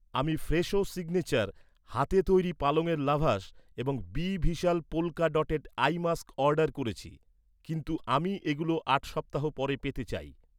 আমি Fresho signature হাতে তৈরি পালঙের লাভাশ এবং বি ভিশাল polka dotted eye mask order করেছি। কিন্তু আমি এগুলো আট সপ্তাহ পরে পেতে চাই।